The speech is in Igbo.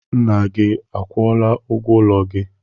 Nna gị akwụọla ụgwọ ụlọ gị?